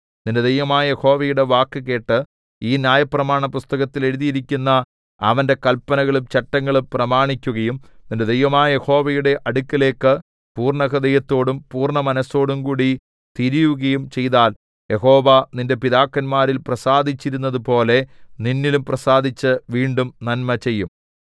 നിന്റെ ദൈവമായ യഹോവയുടെ വാക്കുകേട്ട് ഈ ന്യായപ്രമാണപുസ്തകത്തിൽ എഴുതിയിരിക്കുന്ന അവന്റെ കല്പനകളും ചട്ടങ്ങളും പ്രമാണിക്കുകയും നിന്റെ ദൈവമായ യഹോവയുടെ അടുക്കലേക്ക് പൂർണ്ണഹൃദയത്തോടും പൂർണ്ണ മനസ്സോടുംകൂടി തിരിയുകയും ചെയ്താൽ യഹോവ നിന്റെ പിതാക്കന്മാരിൽ പ്രസാദിച്ചിരുന്നതുപോലെ നിന്നിലും പ്രസാദിച്ച് വീണ്ടും നന്മ ചെയ്യും